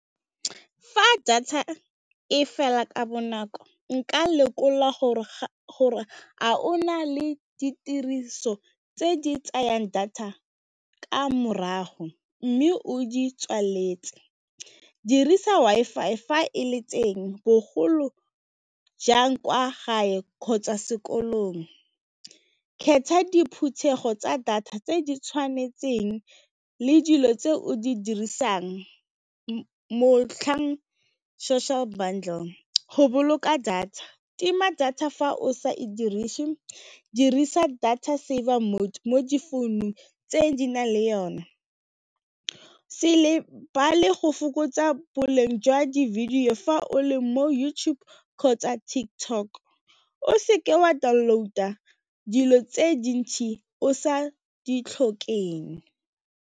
Fa data e fela ka bonako, nka lekola gore a o na le ditiriso tse di tsayang data ka morago mme o di tswaletse. Dirisa Wi-Fi bogolo jang kwa gae kgotsa sekolong kgetha diphuthego tsa data tse di tshwanetseng le dilo tse o di dirisang social bundle, go boloka data tima data fa o sa e dirise dirisa data saver mo difounung tse di nang le yone se le a le go fokotsa boleng jwa di-video fa o le mo YouTube kgotsa TikTok, o seke wa download-a dilo tse dintsi o sa di tlhokeng.